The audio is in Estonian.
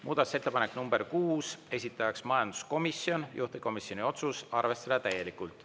Muudatusettepanek nr 6, esitaja majanduskomisjon, juhtivkomisjoni otsus: arvestada täielikult.